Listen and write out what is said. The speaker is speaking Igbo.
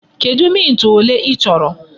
Kedụ mint ole i chọrọ?